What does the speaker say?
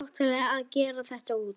Ætlarðu að gefa þetta út?